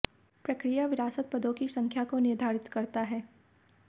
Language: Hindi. प्रक्रिया विरासत पदों की संख्या को निर्धारित करता है